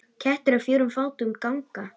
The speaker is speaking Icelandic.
Kettir á fjórum fótum ganga.